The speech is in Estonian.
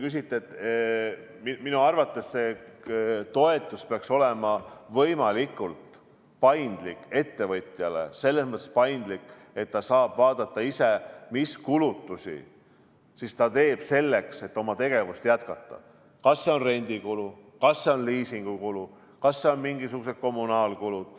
Minu arvates peaks see toetus olema võimalikult paindlik, selles mõttes, et ettevõtja saab siis ise vaadata, mis kulutusi ta teeb, selleks et oma tegevust jätkata, ükskõik kas see on rendikulu, liisingukulu või on tal mingisugused kommunaalkulud.